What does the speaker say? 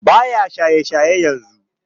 Baya shaye shayen yanzu